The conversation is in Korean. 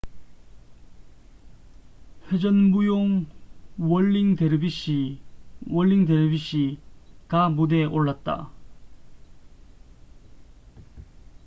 "회전 무용 "월링 데르비시whirlig dervishes""가 무대에 올랐다.